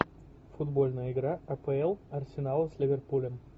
футбольная игра апл арсенала с ливерпулем